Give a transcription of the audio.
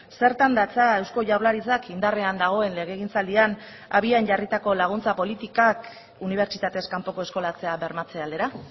zertan datza eusko jaurlaritzak indarrean dagoen legegintzaldian abian jarritako laguntza politikak unibertsitatez kanpoko eskolatzea bermatze aldera